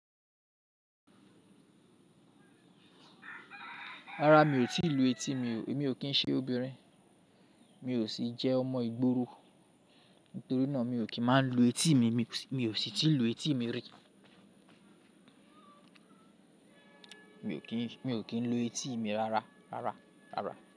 Rárá, mi ò tíì lu etí mi. Èmi ò kín ṣe obìnrin, mi ò sì jẹ́ ọmọ ìgboro. Nítorí náà mi ò kín máa ń lu etí mi. Mi ò sì tí lu etí mi rí. Mi ò kín lu etí mi rárá, rárá, rárá.